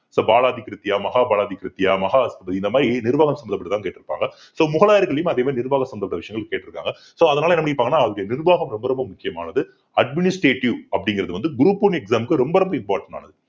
so Balaji திருத்தியா மஹாபாலஜி திருத்தியா மகாத்மி இந்த மாதிரி நிர்வாக சம்மந்தப்பட்டதா கேட்டிருப்பாங்க so முகலாயர்களையும் அதே மாதிரி நிர்வாகம் சம்பந்தப்பட்ட விஷயங்கள் கேட்டிருக்காங்க so அதனால என்ன பண்ணிருப்பாங்கன்னா அவருடைய நிர்வாகம் ரொம்ப ரொம்ப முக்கியமானது administrative அப்படிங்கிறது வந்து group one exam க்கு ரொம்ப ரொம்ப important ஆனது.